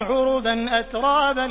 عُرُبًا أَتْرَابًا